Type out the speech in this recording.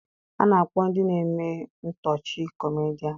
A na-akpọ ndị na-eme ihe ntọchi 'kọmedịans'